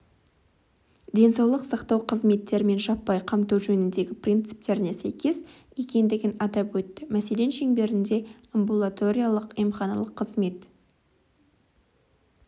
денсаулық сақтау қызметтерімен жаппай қамту жөніндегі принциптеріне сәйкес екендігін атап өтті мәселен шеңберінде амбулаториялық-емханалық қызмет